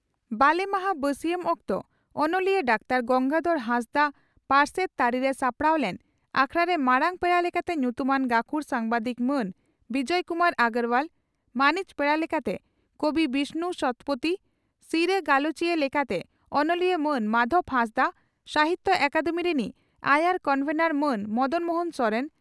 ᱵᱟᱞᱮ ᱢᱟᱦᱟᱸ ᱵᱟᱹᱥᱤᱭᱟᱢ ᱚᱠᱛᱚ ᱚᱱᱚᱞᱤᱭᱟᱹ ᱰᱟᱠᱛᱟᱨ ᱜᱚᱝᱜᱟᱫᱷᱚᱨ ᱦᱟᱸᱥᱫᱟᱜ ᱯᱟᱨᱥᱮᱛ ᱛᱟᱹᱨᱤᱨᱮ ᱥᱟᱯᱲᱟᱣ ᱞᱮᱱ ᱟᱠᱷᱲᱟᱨᱮ ᱢᱟᱨᱟᱝ ᱯᱮᱲᱟ ᱞᱮᱠᱟᱛᱮ ᱧᱩᱛᱩᱢᱟᱱ ᱜᱟᱹᱠᱷᱩᱲ ᱥᱟᱢᱵᱟᱫᱤᱠ ᱢᱟᱱ ᱵᱤᱡᱚᱭ ᱠᱩᱢᱟᱨ ᱚᱜᱨᱚᱣᱟᱞ, ᱢᱟᱹᱱᱤᱡ ᱯᱮᱲᱟ ᱞᱮᱠᱟᱛᱮ ᱠᱚᱵᱤ ᱵᱤᱥᱱᱩ ᱥᱚᱛᱯᱚᱛᱷᱤ, ᱥᱤᱨᱟᱹ ᱜᱟᱞᱚᱪᱤᱭᱟᱹ ᱞᱮᱠᱟᱛᱮ ᱚᱱᱚᱞᱤᱭᱟᱹ ᱢᱟᱱ ᱢᱟᱫᱷᱚᱵᱽ ᱦᱟᱸᱥᱫᱟᱜ, ᱥᱟᱦᱤᱛᱭᱚ ᱟᱠᱟᱫᱮᱢᱤ ᱨᱤᱱᱤᱡ ᱟᱭᱟᱨ ᱠᱚᱱᱵᱷᱮᱱᱚᱨ ᱢᱟᱱ ᱢᱚᱫᱚᱱ ᱢᱚᱦᱚᱱ ᱥᱚᱨᱮᱱ